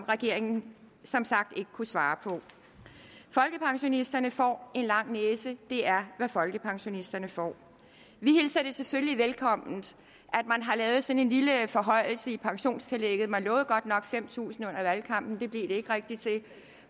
regeringen som sagt ikke svare på folkepensionisterne får en lang næse det er hvad folkepensionisterne får vi hilser det selvfølgelig velkommen at man har lavet sådan en lille forhøjelse i pensionstillægget man lovede godt nok fem tusind kroner under valgkampen det blev det ikke rigtig til